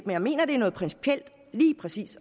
jeg mener det er noget principielt lige præcis